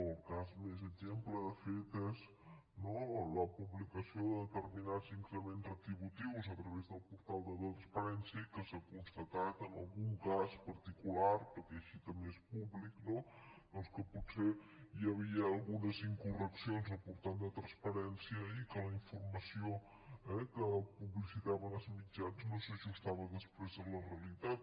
el cas més exemplar de fet és no la publicació de determinats increments retributius a través del portal de la transparència i que s’ha constatat en algun cas particular perquè així també és públic no que potser hi havia algunes incorreccions al portal de la transparència i que la informació que publicitaven els mitjans no s’ajustava després a la realitat